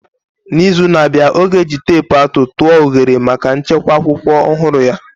N'izu na-abịa, ọ ga-eji teepu atụ tụọ oghere maka nchekwa akwụkwọ ọhụrụ ya.